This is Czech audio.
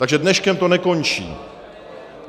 Takže dneškem to nekončí.